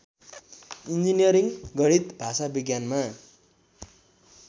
engineering गणित भाषाविज्ञानमा